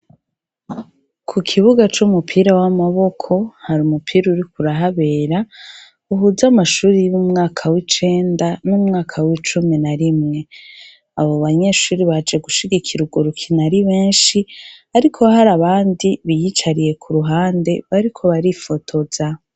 Ku kibuga c'umupira w'amaboko hari umupira uriko urahabera uhuza amashuri y'umwaka w'icenda n'umwaka w'icumi na rimwe. Abo banyeshuri baje gushigikira urwo rukino ari benshi ariko hari abandi biyicariye ku ruhande bariko barifotoza.